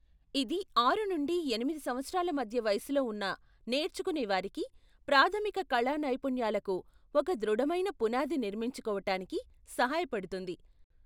ఇది ఆరు నుండి ఎనిమిది సంవత్సరాల మధ్య వయసులో ఉన్న నేర్చుకునేవారికి ప్రాధమిక కళా నైపుణ్యాలకు ఒక దృఢమైన పునాది నిర్మించుకోవటానికి సహాయపడుతుంది.